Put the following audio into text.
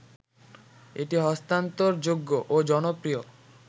এটি হস্তান্তরযোগ্য ও জনপ্রিয়